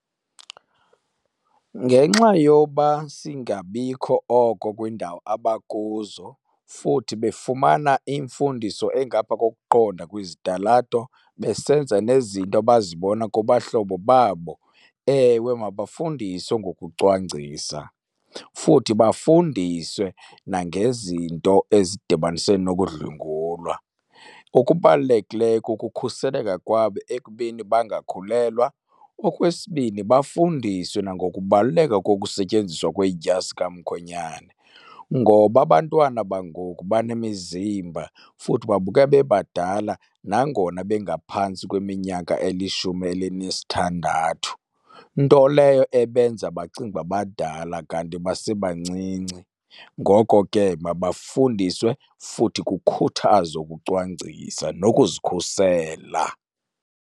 Ngenxa yoba singabikho oko kwiindawo abakuzo futhi befumana imfundiso engapha kokuqonda kwizitalato besenza nezinto abazibona kubahlobo babo, ewe mabafundiswe ngokucwangcisa. Futhi bafundiswe nangezinto ezidibanise nokudlwengulwa. Okubalulekileyo kukukhuseleka kwabo ekubeni bangakhulelwa. Okwesibini, bafundiswe nangokubaluleka kokusetyenziswa kwedyasi kamkhwenyane, ngoba abantwana bangoku banemizimba futhi babukeka bebadala nangona bengaphantsi kweminyaka elishumi elinesithandathu. Nto leyo ebenza bacinge uba badala kanti basebancinci. Ngoko ke mabafundiswe futhi kukhuthazwe ukucwangcisa nokuzikhusela.